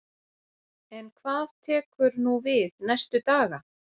En hvað tekur nú við næstu daga?